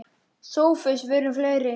Nema hún sé dáin.